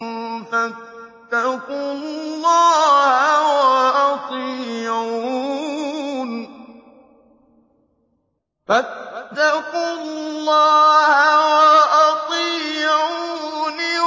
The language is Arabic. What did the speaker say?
فَاتَّقُوا اللَّهَ وَأَطِيعُونِ